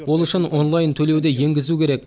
ол үшін онлайн төлеуді енгізу керек